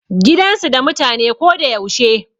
Gidan su da mutane ko da yaushe.